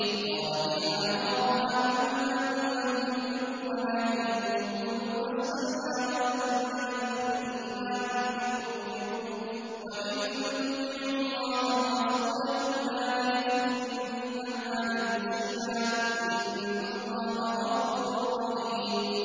۞ قَالَتِ الْأَعْرَابُ آمَنَّا ۖ قُل لَّمْ تُؤْمِنُوا وَلَٰكِن قُولُوا أَسْلَمْنَا وَلَمَّا يَدْخُلِ الْإِيمَانُ فِي قُلُوبِكُمْ ۖ وَإِن تُطِيعُوا اللَّهَ وَرَسُولَهُ لَا يَلِتْكُم مِّنْ أَعْمَالِكُمْ شَيْئًا ۚ إِنَّ اللَّهَ غَفُورٌ رَّحِيمٌ